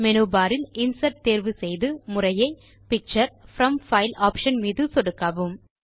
menu bar இல் insert தேர்வு செய்து முறையே பிக்சர் ப்ரோம் பைல் ஆப்ஷன் மீது சொடுக்கவும்